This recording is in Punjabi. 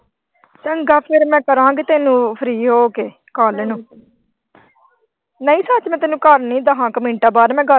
ਚੰਗਾ ਫਿਰ ਮੈਂ ਕਰਾਂਗੀ ਤੈਨੂੰ ਫੇਰ free ਹੋ ਕੇ ਕੱਲ ਨੂੰ ਨਹੀਂ ਸੱਚ ਮੈਂ ਤੈਨੂੰ ਦਹਾਂ ਕੁ ਮਿੰਟਾਂ ਬਾਅਦ ਮੈਂ ਗੱਲ।